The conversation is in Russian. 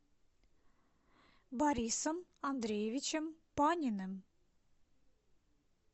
борисом андреевичем паниным